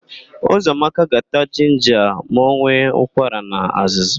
Ụzọamaka ga-ata jinja ma ọ nwee ụkwara na azụzụ.